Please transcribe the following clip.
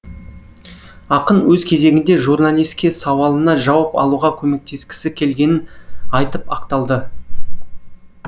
ақын өз кезегінде журналиске сауалына жауап алуға көмектескісі келгенін айтып ақталды